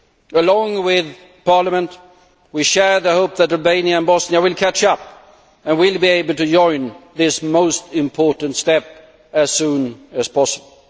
Along with Parliament, we share the hope that Albania and Bosnia will catch up and will be able to join this most important step as soon as possible.